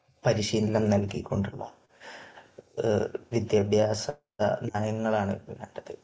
പരിശീലനം നൽകിക്കൊണ്ടുള്ള വിദ്യാഭ്യാസ നയങ്ങളാണ് വേണ്ടത്.